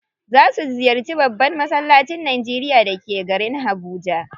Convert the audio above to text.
Za su ziyarci babban massalacin Najeria da ke garin Habuja.